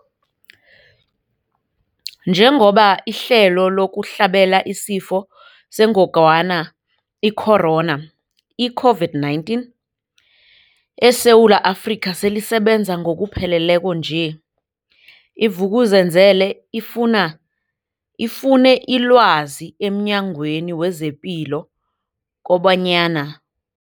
Njengoba ihlelo lokuhlabela isiFo sengogwana i-Corona, i-COVID-19, eSewula Afrika selisebenza ngokupheleleko nje, i-Vuk'uzenzele ifune ilwazi emNyangweni wezePilo kobanyana.